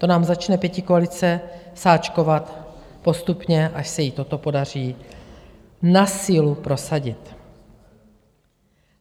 To nám začne pětikoalice sáčkovat postupně, až se jí toto podaří na sílu prosadit.